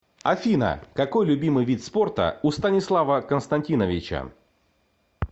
афина какой любимый вид спорта у станислава константиновича